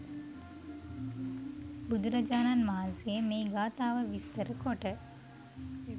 බුදුරජාණන් වහන්සේ මේ ගාථාව විස්තර කොට